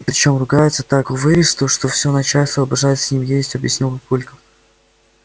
причём ругается так заковыристо что все начальство обожает с ним ездить объяснил папулька